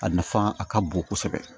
A nafa a ka bon kosɛbɛ